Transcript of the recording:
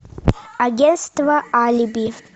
агентство алиби